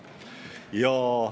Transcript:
Ja ...